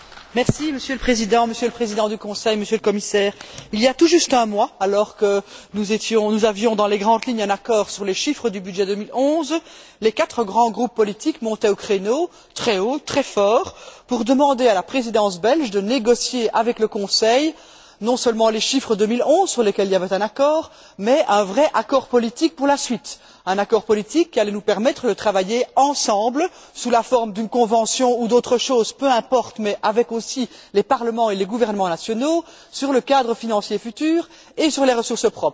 Monsieur le Président, Monsieur le Président du Conseil, Monsieur le Commissaire, il y a tout juste un mois, alors que nous avions, dans les grandes lignes, un accord sur les chiffres du budget 2011, les quatre grands groupes politiques montaient au créneau, très haut, très fort, pour demander à la Présidence belge de négocier, avec le Conseil, non seulement les chiffres 2011, sur lesquels il y avait un accord, mais un vrai accord politique pour la suite, un accord politique qui allait nous permettre de travailler ensemble, sous la forme d'une convention ou d'autre chose, peu importe, mais avec aussi les parlements et les gouvernements nationaux, sur le cadre financier futur et sur les ressources propres.